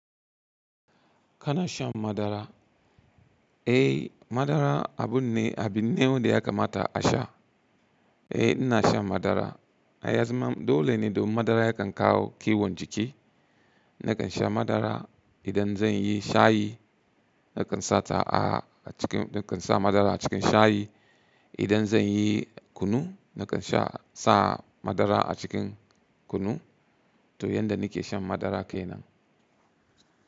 Kana shan madara? Eh, madara abu ne, abin ne wanda ya kamata a sha. Eh ina shan madara. A yazama dole ne domin madara yakan kawo kiwon jiki. Nakan sha madara idan zan yi shayi, nakan sa ta a cikin, nakan sa madara a cikin shayi. Idan zan yi kunu, nakan sha- sa madara a cikin kunu. To yanda nake shan madara kenan.